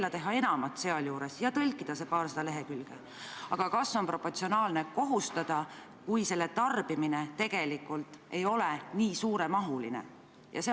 Nii et see 21 000 tuleneb sellest direktiivist, lõikest 2, mille kehtima hakkamise me praeguse ettepanekuga viieks aastaks edasi lükkame.